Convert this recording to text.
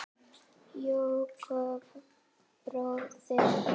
Jakob bróðir.